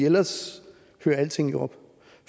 ellers hører alting jo op